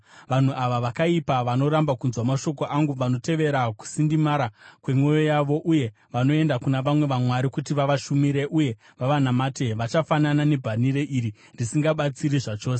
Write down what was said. Vanhu ava vakaipa, vanoramba kunzwa mashoko angu, vanotevera kusindimara kwemwoyo yavo uye vanoenda kuna vamwe vamwari kuti vavashumire uye vavanamate, vachafanana nebhanhire iri, risingabatsiri chose!